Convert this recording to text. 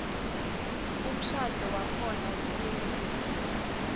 umshadvo wakhona wesintfu